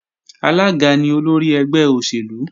Alága ni olórí ẹgbẹ́ òṣèlú